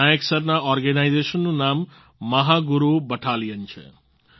નાયક સરના ઓર્ગેનાઈઝેશનનું નામ મહાગુરુ બટાલિયન છે